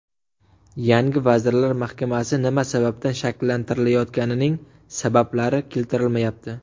Yangi vazirlar mahkamasi nima sababdan shakllantirilayotganining sabablari keltirilmayapti.